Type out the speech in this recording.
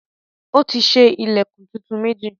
Ó ti ṣe ilẹ̀kùn tuntun méjì.